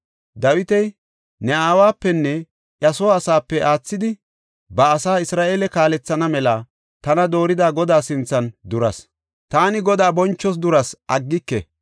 Dawiti, “Ne aawapenne iya soo asape aathidi ba asaa Isra7eele kaalethana mela tana doorida Godaa sinthan duras. Taani Godaa bonchoos dursa aggike.